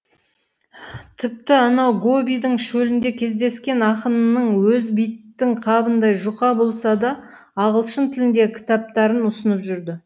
тіпті анау гобидің шөлінде кездескен ақынының өзі биттің қабындай жұқа болса да ағылшын тіліндегі кітаптарын ұсынып жүрді